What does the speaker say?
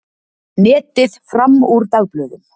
Netið fram úr dagblöðum